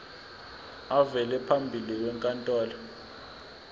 avele phambi kwenkantolo